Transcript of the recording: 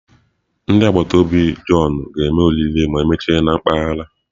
Ndị agbata obi John ga-eme oriri ma emechaa na mpaghara.